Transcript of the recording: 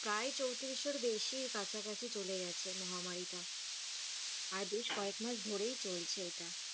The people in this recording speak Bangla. প্রায় চৌত্রিশশোর বেশি কাছাকাছি চলে গেছে মহামারীটা, আর বেশ কয়েকমাস ধরেই চলছে এটা।